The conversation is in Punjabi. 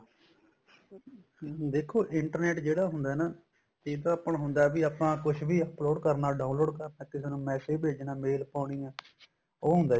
ਦੇਖੋ internet ਜਿਹੜਾ ਹੁੰਦਾ ਨਾ ਇਹ ਤਾਂ ਆਪਾਂ ਨੂੰ ਹੁੰਦਾ ਬੀ ਆਪਾਂ ਕੁੱਝ ਵੀ upload ਕਰਨਾ download ਕਰ ਕਿਸੇ ਨੂੰ massage ਭੇਜਣਾ mail ਪਾਉਣੀ ਏ ਉਹ ਹੁੰਦਾ ਜੀ